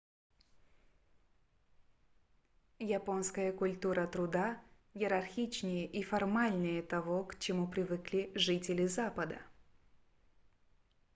японская культура труда иерархичнее и формальнее того к чему привыкли жители запада